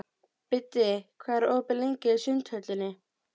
Biddi, hvað er opið lengi í Sundhöllinni?